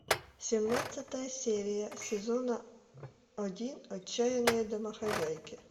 семнадцатая серия сезона один отчаянные домохозяйки